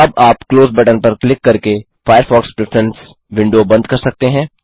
अब आप close button पर क्लिक करके फायरफॉक्स प्रेफरेंस विंडो बंद कर सकते हैं